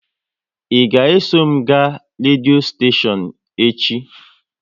Ị ga eso m ga redio steshion echi?